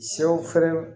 Sɛw fɛrɛ